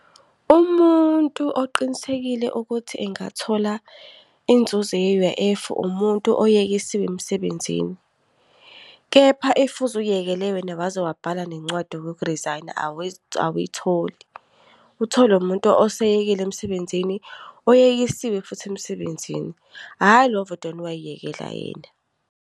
Umuntu oqinisekile ukuthi engathola inzuzo ye-U_I_F, umuntu oyekisiwe emsebenzini. Kepha if uziyekele wena waze wabhala nencwadi yoku-resign-a, awuyitholi. Itholwa umuntu oseyekile emsebenzini, oyekisiwe futhi emsebenzini. Hhayi lo ovedane wayiyekela yena.